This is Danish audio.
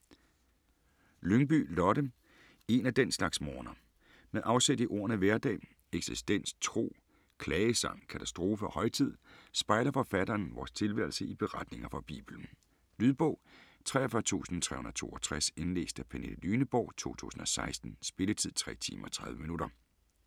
Lyngby, Lotte: En af den slags morgener Med afsæt i ordene hverdag, eksistens, tro, klagesang, katastrofe og højtid, spejler forfatteren vores tilværelse i beretninger fra Bibelen. Lydbog 43362 Indlæst af Pernille Lyneborg, 2016. Spilletid: 3 timer, 30 minutter.